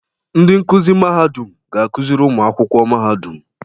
Ndị nkuzi Mahadum ga-akụziri ụmụ akwụkwọ Mahadum.